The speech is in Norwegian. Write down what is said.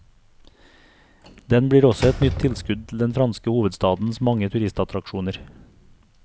Den blir også et nytt tilskudd til den franske hovedstadens mange turistattraksjoner.